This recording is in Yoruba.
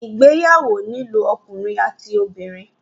Ìgbéyàwó nílò ọkùnrin àti obìnrin.